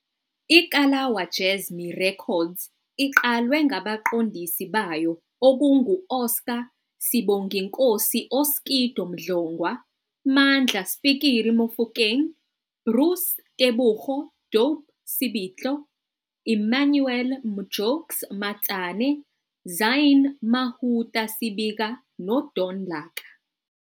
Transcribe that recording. IKalawa Jazzmee Records iqalwe ngabaqondisi bayo okungo-Oscar Sibonginkosi " Oskido " Mdlongwa, Mandla "Spikiri" Mofokeng, Bruce Tebogo "Dope" Sebitlo, Emmanuel "Mjokes" Matsane, Zynne "Mahoota" Sibika noDon Laka.